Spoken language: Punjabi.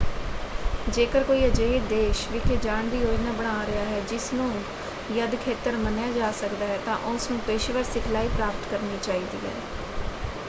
ਜੇਕਰ ਕੋਈ ਅਜਿਹੇ ਦੇਸ਼ ਵਿਖੇ ਜਾਣ ਦੀ ਯੋਜਨਾ ਬਣਾ ਰਿਹਾ ਹੈ ਜਿਸ ਨੂੰ ਯੱਧ ਖੇਤਰ ਮੰਨਿਆ ਜਾ ਸਕਦਾ ਹੈ ਤਾਂ ਉਸ ਨੂੰ ਪੇਸ਼ੇਵਰ ਸਿਖਲਾਈ ਪ੍ਰਾਪਤ ਕਰਨੀ ਚਾਹੀਦੀ ਹੈ।